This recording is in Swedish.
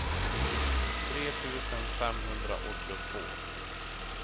tre tusen femhundraåttiotvå